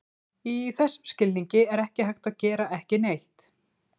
Í þessum skilningi er ekki hægt að gera ekki neitt.